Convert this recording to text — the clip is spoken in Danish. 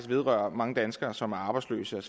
vedrører mange danskere som er arbejdsløse og